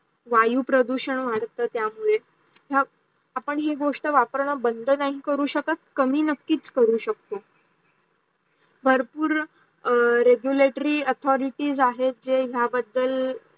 वायू प्रदूषण वाढतात त्या मुडे आपण ही गोष्ट वापरण बंद करू शकत कमी नाही करू शकतो. भरपूर regulatory authorities आहे जे या बद्धल